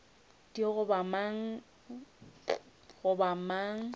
di goba mang goba eng